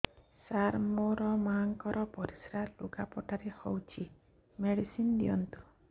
ସାର ମୋର ମାଆଙ୍କର ପରିସ୍ରା ଲୁଗାପଟା ରେ ହଉଚି ମେଡିସିନ ଦିଅନ୍ତୁ